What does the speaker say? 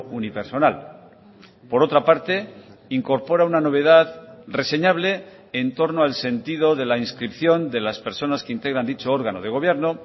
unipersonal por otra parte incorpora una novedad reseñable en torno al sentido de la inscripción de las personas que integran dicho órgano de gobierno